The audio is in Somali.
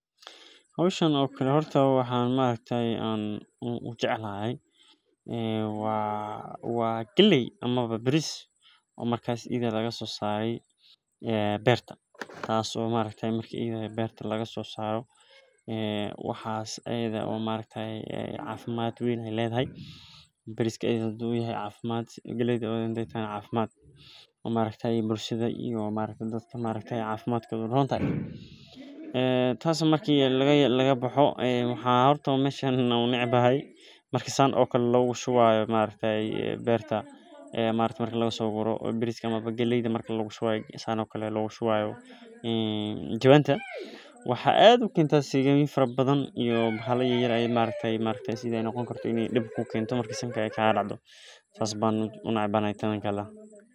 Hoshani oo kale horta maxan u jecelahay horta waa galey ama waa baris oo beerta laga sosare ee waxas iyda cafimaad weyn ayey ledhahay bariska iyada cafimaad iyo bulshaada maaragte ee tas oo marki laga baxo maxan u necbahay marki bariska iyo galeyda lagu shubayo tas ayan u necbahay tan oo kale.